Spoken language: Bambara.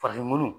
Farafinw